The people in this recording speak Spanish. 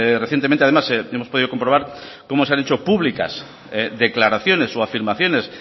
recientemente además hemos podido comprobar cómo se han hecho públicas declaraciones o afirmaciones